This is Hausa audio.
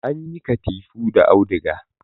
Ana yin katifu da auduga